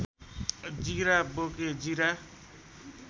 जीरा बोके जीरा